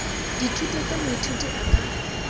dithuto tse moithuti a ka